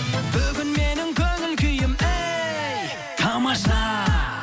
бүгін менің көңіл күйім әй тамаша